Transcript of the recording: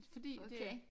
Fordi det